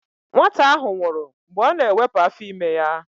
Nwata ahụ nwụrụ mgbe ọ na-ewepụ afọ ime ya.